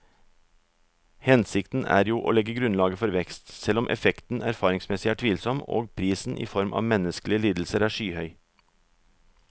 Hensikten er jo å legge grunnlaget for vekst, selv om effekten erfaringsmessig er tvilsom og prisen i form av menneskelige lidelser er skyhøy.